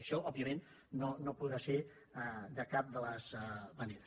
això òbviament no podrà ser de cap de les maneres